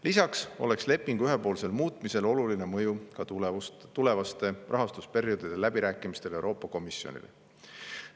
Lisaks oleks lepingu ühepoolsel muutmisel oluline mõju tulevaste rahastusperioodide läbirääkimistel Euroopa Komisjoniga.